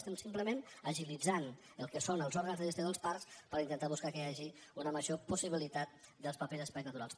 estem simplement agilitzant el que són els òrgans de gestió dels parcs per intentar buscar que hi hagi una major possibilitat dels mateixos espais naturals